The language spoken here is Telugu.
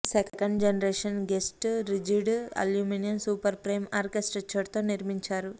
second generation ghost rigid aluminium super frame architecture తో నిర్మించారు